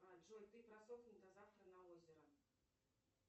джой ты просохни на завтра на озеро